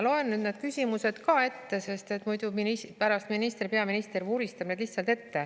Loen küsimused ka ette, sest pärast peaminister lihtsalt vuristab need maha.